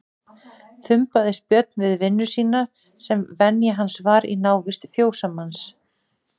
Þumbaðist Björn við vinnu sína sem venja hans var í návist fjósamanns.